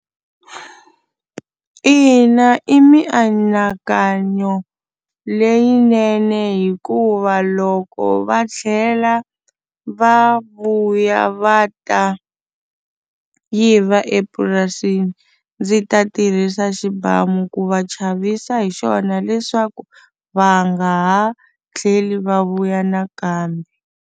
Ina i mianakanyo leyinene hikuva loko va tlhela va vuya va ta va yiva epurasini ndzi ta tirhisa xibamu ku va chavisa hi xona leswaku va nga ha tlheli va vuya nakambe.